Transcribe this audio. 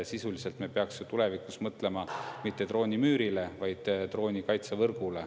Sisuliselt me peaksime tulevikus mõtlema mitte droonimüürile, vaid droonikaitsevõrgule.